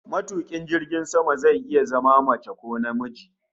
Matukin jirgin sama zai iya zama mace ko namiji